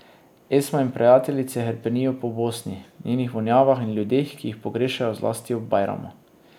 Esma in prijateljice hrepenijo po Bosni, njenih vonjavah in ljudeh, ki jih pogrešajo zlasti ob bajramu.